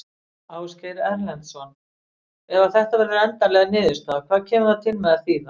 Ásgeir Erlendsson: Ef að þetta verður endanleg niðurstaða, hvað kemur það til með að þýða?